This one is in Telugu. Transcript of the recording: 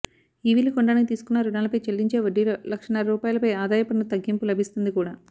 ఈవీలు కొనడానికి తీసుకున్న రుణాలపై చెల్లించే వడ్డీలో లక్షన్నర రూపాయలపై ఆదాయ పన్ను తగ్గింపు లభిస్తుంది కూడా